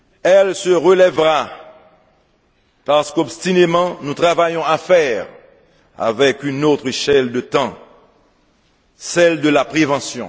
Elle se relèvera parce qu'obstinément nous travaillons à faire avec une autre échelle de temps celle de la prévention.